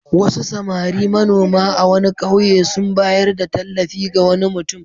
Wasu samari manoma a wani ƙauye sun bayar da tallafi ga wani mutum.